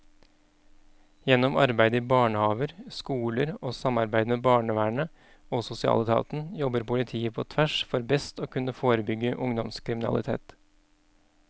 Gjennom arbeid i barnehaver, skoler og samarbeid med barnevernet og sosialetaten jobber politiet på tvers for best å kunne forebygge ungdomskriminalitet.